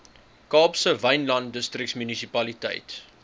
kaapse wynland distriksmunisipaliteit